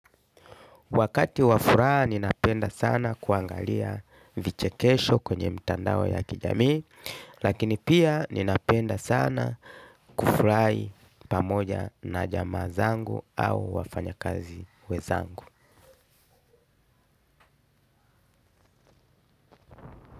Wakati wafuraa ninapenda sana kuangalia viche kesho kwenye mtandaoya kijamii. Lakini pia ninapenda sana kufurai pamoja na jamaa zangu au wafanya kazi we zangu.